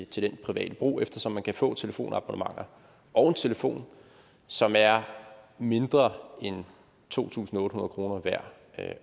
til privat brug eftersom man kan få telefonabonnementer og en telefon som er mindre end to tusind otte hundrede kroner værd